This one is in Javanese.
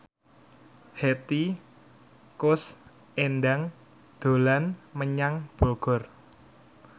Hetty Koes Endang dolan menyang Bogor